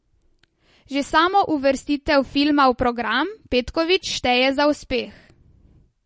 Že samo uvrstitev filma v program Petković šteje za uspeh.